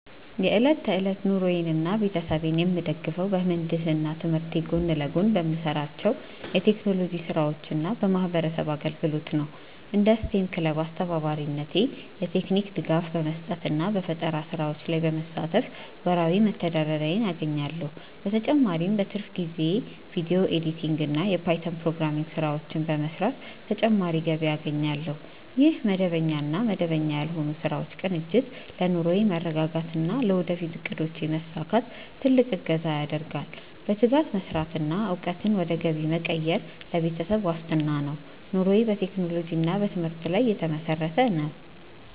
የዕለት ተዕለት ኑሮዬንና ቤተሰቤን የምደግፈው በምህንድስና ትምህርቴ ጎን ለጎን በምሰራቸው የቴክኖሎጂ ስራዎችና በማህበረሰብ አገልግሎት ነው። እንደ ስቴም ክለብ አስተባባሪነቴ የቴክኒክ ድጋፍ በመስጠትና በፈጠራ ስራዎች ላይ በመሳተፍ ወርሃዊ መተዳደሪያዬን አገኛለሁ። በተጨማሪም በትርፍ ጊዜዬ የቪዲዮ ኤዲቲንግና የፓይተን ፕሮግራሚንግ ስራዎችን በመስራት ተጨማሪ ገቢ አገኛለሁ። ይህ መደበኛና መደበኛ ያልሆኑ ስራዎች ቅንጅት ለኑሮዬ መረጋጋትና ለወደፊት እቅዶቼ መሳካት ትልቅ እገዛ ያደርጋል። በትጋት መስራትና እውቀትን ወደ ገቢ መቀየር ለቤተሰብ ዋስትና ነው። ኑሮዬ በቴክኖሎጂና በትምህርት ላይ የተመሰረተ ነው።